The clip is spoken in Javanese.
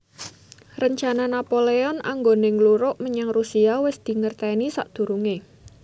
Rencana Napoleon anggoné ngluruk menyang Rusia wis dingertèni sakdurungé